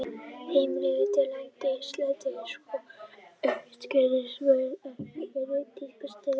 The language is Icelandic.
Heimild: Landmælingar Íslands Skoðið einnig skyld svör: Hver eru dýpstu stöðuvötn á Íslandi?